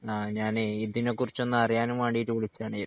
ആ ഞാനെ ഇതിനെക്കുറിച്ചൊന്നറിയാനും വേണ്ടിട്ട് വിളിച്ചതാണെ